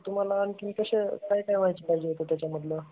तुम्हाला आणखी कशी काय काय माहिती पाहिजे होती त्याचा मधलं.